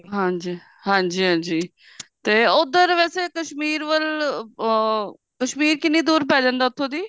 ਹਾਂਜੀ ਹਾਂਜੀ ਹਾਂਜੀ ਟ ਉੱਧਰ ਵੈਸੇ ਕਸ਼ਮੀਰ ਵੱਲ ਅਹ ਕਸ਼ਮੀਰ ਕਿੰਨੀਂ ਦੁਰ ਪੈ ਜਾਂਦਾ ਉੱਥੋਂ ਦੀ